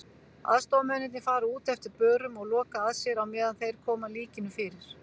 Aðstoðarmennirnir fara út eftir börum og loka að sér á meðan þeir koma líkinu fyrir.